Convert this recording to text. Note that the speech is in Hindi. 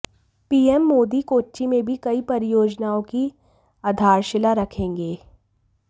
पीएम मोदी कोच्चि में भी कई परियोजनाओं की आधारशिला रखेंगे